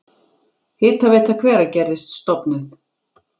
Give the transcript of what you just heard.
Hitaveita Hveragerðis stofnuð.